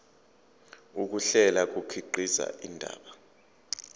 ukuhlela kukhiqiza indaba